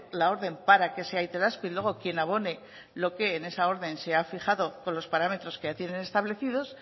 la orden para que sea itelazpi luego quien abone lo que en esa orden se ha fijado con los parámetros que ya tienen establecidos